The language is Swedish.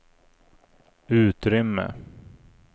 utrymme